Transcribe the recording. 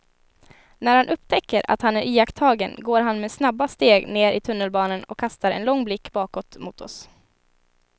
När han upptäcker att han är iakttagen går han med snabba steg ner i tunnelbanan och kastar en lång blick bakåt mot oss.